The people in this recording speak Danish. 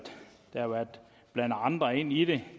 der har været blandet andre ind i det